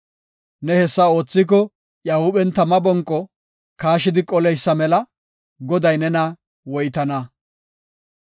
Ne hessa oothiko iya huuphen tama bonqo kaashidi qoleysa mela; Goday nena woytana.